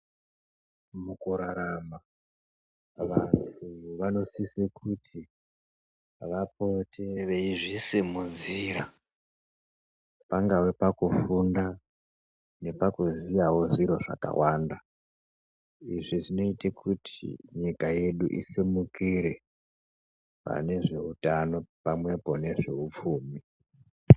Mukurarama vanhu vanosise kuti vapote veizvisimudzira pangave pakufunda nepakuziya wo zviro zvakawanda, izvi zvinoite kuti nyika yeduu isimukire panezveutano pamwepo nezve upfumi.